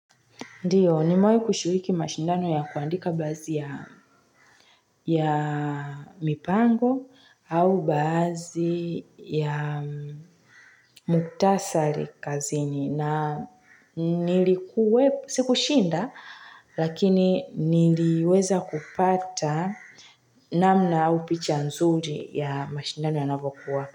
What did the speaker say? Ndio, ni mewahi kushiriki mashindano ya kuandika bazi ya mipango au baadhi ya muhktasari kazini. Na nilikuwe, siku shinda, lakini niliweza kupata namna au picha nzuri ya mashindano ya navokuwa.